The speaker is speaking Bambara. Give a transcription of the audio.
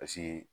Paseke